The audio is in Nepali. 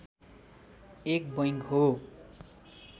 एक बैंक हो